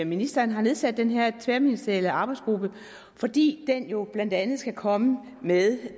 ministeren har nedsat den her tværministerielle arbejdsgruppe fordi den jo blandt andet skal komme med